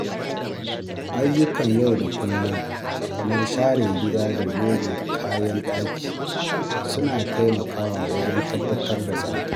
Ayyukan yau da kullum kamar share gida da goge kayan ɗaki suna taimakawa wajen tabbatar da tsafta.